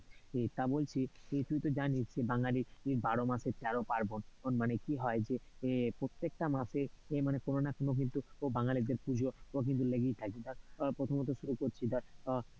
সেটা বলছি তুই তো জানিস, যে বাঙালিদের বারো মাসে তেরো পার্বণ, মানে কি হয় এর প্রত্যেকটা মাসে কোনো না কোনো কিন্তু বাঙালিদের পুজো লেগেই থাকে আহ প্রথমত শুরু করছি ধর, আহ